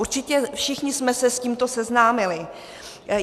Určitě všichni jsme se s tímto seznámili.